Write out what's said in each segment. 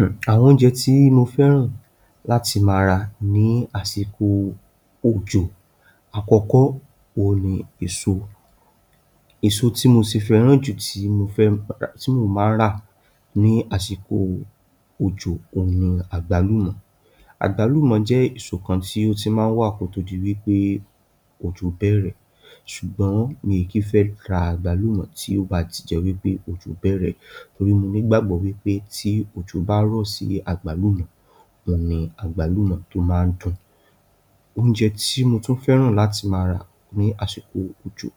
Umm. Àwọn oúnjẹ tí mo fẹ́ràn láti mà rà ní àsìkò òjò àkọ́kọ́ oún ní èso. Èso tí mo sì fẹ́ràn jù tí mo fẹ́, tí mo má rà ní àsìkò òjò ọ̀hún ní àgbàlùmọ̀. Àgbàlùmọ̀ jẹ́ èso kan tí ó ti máa wà kó tó dì wípé òjò bẹ̀rẹ̀. Ṣùgbọ́n mi kì fẹ́ rà àgbàlùmọ̀ tí ó bá ti jẹ́ wípé òjò bẹ̀rẹ̀ torí mo ní gbàgbọ́ pé tí òjò bá rọ sí àgbàlùmọ̀. Ohun ní àgbàlùmọ̀ tó máa ń dùn. Oúnjẹ tí mo tún fẹ́ràn láti mà rà ní àsìkò òjò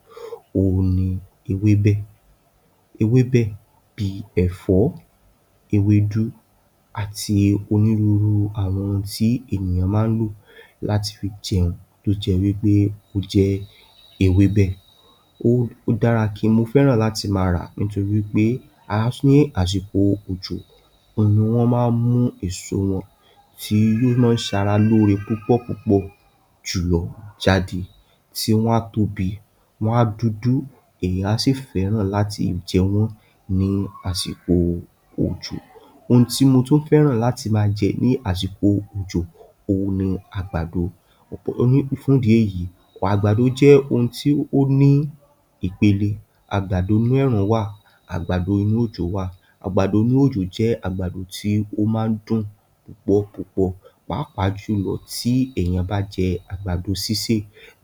ọ̀hún ní ewébé. Ewébé bí ẹ̀fọ́, èwẹ̀dù àti onírúurú àwọn oún tí ènìyàn máa lò láti fi jẹun tó jẹ́ ìwí pé ó jẹ́ ewébé. Ó dára kí mo fẹ́ràn láti mà rà nítorí pé a ní àsìkò òjò. Òní wọ́n máa mú èso wọn tí ó máa sárà lórí púpọ̀ púpọ̀ jùlọ jáde, tí wọ́n á tóbi, wọ́n á dúdú. Ẹ̀yàn á sì fẹ́ràn láti jẹun ní àsìkò òjò. Níti motún fẹ́ràn láti má jẹ ní àsìkò òjò ọ̀hún ní àgbàdo. Fúndì èyí, àgbàdo jẹ́ ohun tí ó ní ipèlẹ. Àgbàdo inú ẹrun wà, àgbàdo inú òjò wà. Àgbàdo inú òjò jẹ́ àgbàdo tí ó máa dùn púpọ̀ púpọ̀. Pápàjùlọ tí, ẹ̀yàn bá jẹ àgbàdo sísè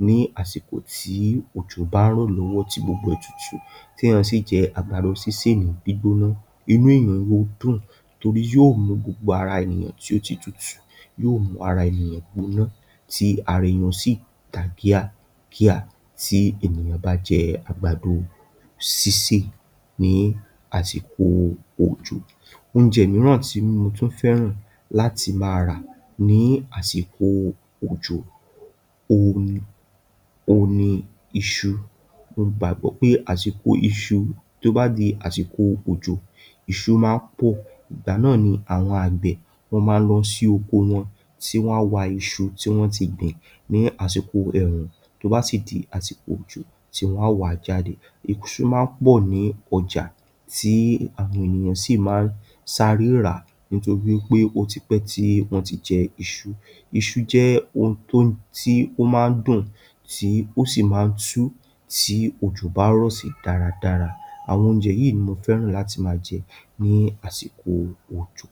ní àsìkò tí òjò bá rọ lọ́wọ́ tí gbogbo ẹ tútù. Tí ẹ̀yàn sì jẹ àgbàdo sísè gbígbóná inú ẹ̀yàn yó dùn. Torí yóò mú gbogbo ara ènìyàn tí ó ti tútù yóò mú ara ènìyàn gbóná tí ara ẹ̀yàn ó sì tagíyà gíyà tí ènìyàn bá jẹ àgbàdo sísè ní àsìkò òjò. Oúnjẹ míìrán tí mo tún fẹ́ràn láti má rà ní àsìkò òjò ọ̀hún ní o ní iṣú. Mo gbàgbọ́ pé àsìkò iṣú tó bá di àsìkò òjò iṣú má pọ̀. Ìgbà náà ni àwọn agbẹ wọ́n máa lọ sí oko wọ́n tí wọ́n wá iṣú tí wọ́n ti gbìn ní àsìkò ẹ̀rùn tó bá ti di àti àsìkò òjò tí wọ́n wá jáde. Ìṣú má pọ̀ ní ọjà tí àwọn ènìyàn sì máa ń sáré rà. Nítorí pé ó ti pẹ́tì, wọ́n ti jẹ iṣú. Ìṣú jẹ́ ohun tó tí ó máa dùn tí ó sì máa ń tú tí òjò bá rọ sí dára-dára. Àwọn onjẹ yìní mo fẹ́ràn láti má jẹ ní àsìkò òjò.